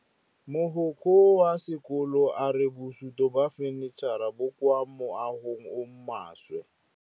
Mogokgo wa sekolo a re bosutô ba fanitšhara bo kwa moagong o mošwa.